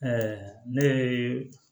ne ye